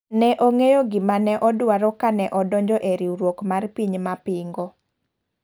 Ne ong'eyo gima ne odwaro kane odonjo e riwruok mar piny ma pingo.